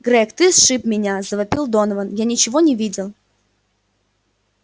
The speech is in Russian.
грег ты сшиб меня завопил донован я ничего не видел